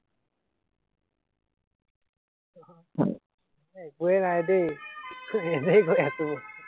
হয়, একোৱাই নাই দেই এনেই কৈ আছো মই